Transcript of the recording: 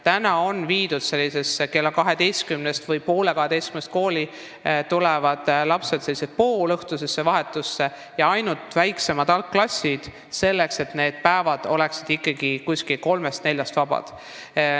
Praegu on kella kaheteistkümneks või poole kaheteistkümneks kooli tulevad lapsed sellises poolõhtuses vahetuses ja sedagi ainult nooremates algklassides, selleks et lapsed saaksid ikkagi kella kolmest või neljast vabaks.